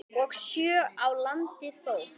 og sjö á landi þó.